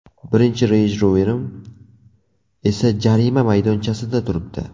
Birinchi Range Rover’im esa jarima maydonchasida turibdi.